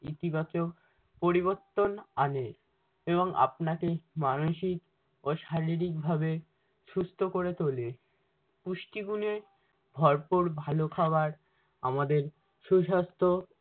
ইতিবাচক পরিবর্তন আনে এবং আপনাকে মানসিক ও শারীরিক ভাবে সুস্থ করে তোলে। পুষ্টিগুণে ভরপুর ভালো খাবার আমাদের সুসাস্থ